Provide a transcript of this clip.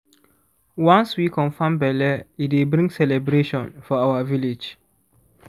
once we confirm belle e dey bring celebration for our village